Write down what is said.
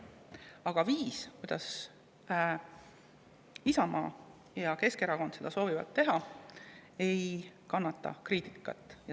Aga viis, kuidas Isamaa ja Keskerakond seda soovivad teha, ei kannata kriitikat.